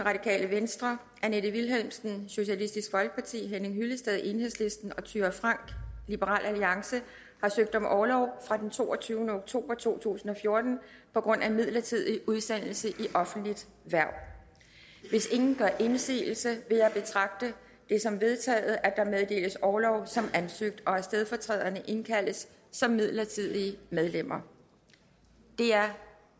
annette vilhelmsen henning hyllested og thyra frank har søgt om orlov fra den toogtyvende oktober to tusind og fjorten på grund af midlertidig udsendelse i offentligt hverv hvis ingen gør indsigelse vil jeg betragte det som vedtaget at der meddeles orlov som ansøgt og at stedfortræderne indkaldes som midlertidige medlemmer det er